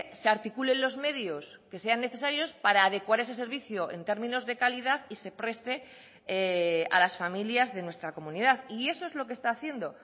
se articulen los medios que sean necesarios para adecuar ese servicio en términos de calidad y se preste a las familias de nuestra comunidad y eso es lo que está haciendo